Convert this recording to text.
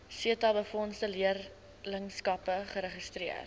setabefondse leerlingskappe geregistreer